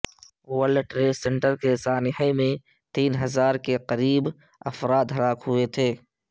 world Trade Center کے سانحے میں تین ہزار کے قریب افراد ہلاک ہوئے تھے